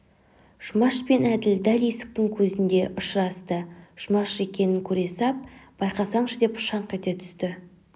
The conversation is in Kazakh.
жұмаш пен әділ дәл есіктің көзінде ұшырасты жұмаш екенін көре сап байқасаңшы деп шаңқ ете түсті